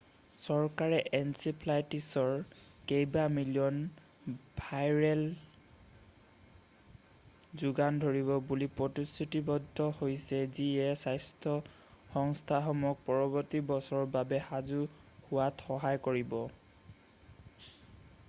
চৰকাৰে এনকেফেলাইটিছৰ কেইবা মিলিয়ন ভায়েলৰ যোগান ধৰিব বুলি প্ৰতিশ্ৰুতিৱদ্ধ হৈছে যিয়ে স্বাস্থ্য সংস্থাসমূহক পৰৱৰ্তী বছৰৰ বাবে সাজু হোৱাত সহায় কৰিব।